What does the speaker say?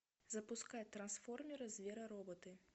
запускай трансформеры зверороботы